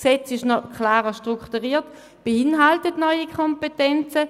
Das Gesetz ist noch klarer strukturiert und beinhaltet neue Kompetenzen.